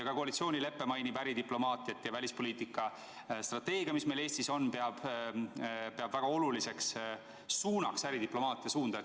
Ka koalitsioonilepe mainib äridiplomaatiat ja välispoliitika strateegias, mis meil Eestis on, peetakse väga oluliseks suunaks äridiplomaatia suunda.